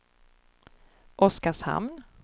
Oskarshamn